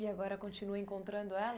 E agora continua encontrando ela?